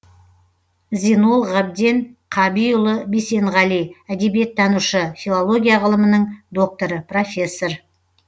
зинол ғабден қабиұлы бисенғали әдебиеттанушы филология ғылымының докторы профессор